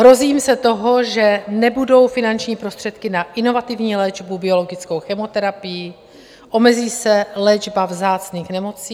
Hrozím se toho, že nebudou finanční prostředky na inovativní léčbu biologickou chemoterapií, omezí se léčba vzácných nemocí.